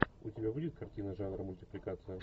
у тебя будет картина жанра мультипликация